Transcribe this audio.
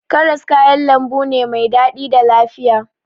Karas kayan lambu ne mai daɗi da lafiya.